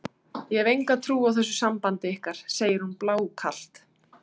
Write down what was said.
Ég hef enga trú á þessu sambandi ykkar, segir hún blákalt.